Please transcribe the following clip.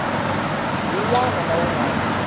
wun wana na wun wana